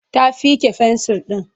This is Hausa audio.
Ta fiƙe fensir ɗin.